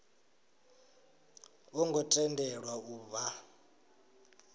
vho ngo tendelwa u vha